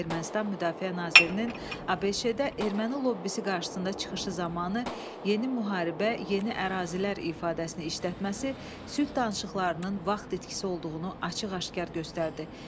Ermənistan Müdafiə Nazirinin ABŞ-də erməni lobbisi qarşısında çıxışı zamanı yeni müharibə, yeni ərazilər ifadəsini işlətməsi sülh danışıqlarının vaxt itkisi olduğunu açıq-aşkar göstərirdi.